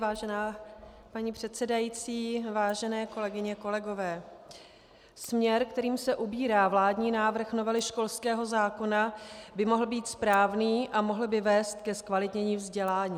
Vážená paní předsedající, vážené kolegyně, kolegové, směr, kterým se ubírá vládní návrh novely školského zákona, by mohl být správný a mohl by vést ke zkvalitnění vzdělání.